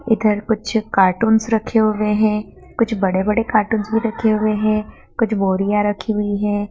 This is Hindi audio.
इधर कुछ कार्टूंस रखे हुए हैं कुछ बड़े बड़े कार्टूंस भी रखे हुए हैं कुछ बोरियां रखी हुई है।